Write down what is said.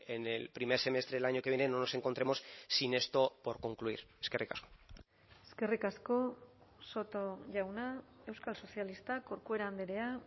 en el primer semestre del año que viene no nos encontremos sin esto por concluir eskerrik asko eskerrik asko soto jauna euskal sozialistak corcuera andrea